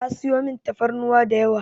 Ta sayi min tafarnuwa da yawa.